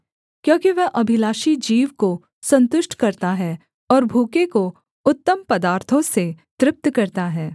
क्योंकि वह अभिलाषी जीव को सन्तुष्ट करता है और भूखे को उत्तम पदार्थों से तृप्त करता है